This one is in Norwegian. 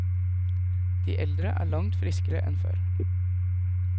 De eldre er langt friskere enn før.